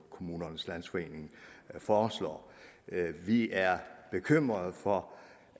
kommunernes landsforening foreslår vi er bekymret for